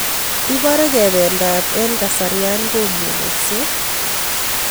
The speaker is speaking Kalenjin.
Ibare kebendat en kasarian komugaksei